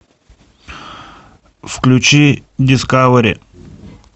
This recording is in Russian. включи дискавери